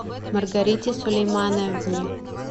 маргарите сулеймановне